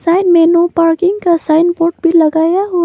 side में no parking का sign board भी लगाया हुआ--